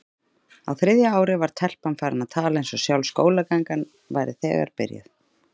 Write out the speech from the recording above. Á þriðja ári var telpan farin að tala eins og sjálf skólagangan væri þegar byrjuð.